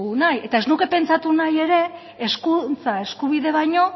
nahi eta ez nuke pentsatu nahi ere hezkuntza eskubide baino